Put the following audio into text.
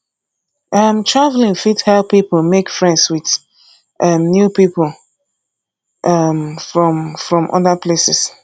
um travelling fit help pipo make friends with um new pipo um from from other places